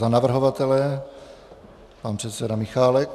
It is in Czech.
Za navrhovatele pan předseda Michálek.